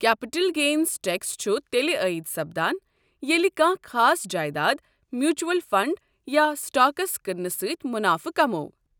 Capital gains tax چھُ تیٚلہِ عٲید سپدان ییٚلہِ کانٛہہ خاص جایداد ، میوٗچوَل فنٛڈ یا سٹاكس کٕنٛنہٕ سٕتۍ مُنافہ كماوو۔